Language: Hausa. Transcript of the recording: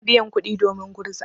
Bana biyan kuɗi domin gurza.